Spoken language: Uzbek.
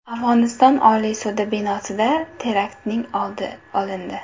Afg‘oniston Oliy sudi binosida teraktning oldi olindi.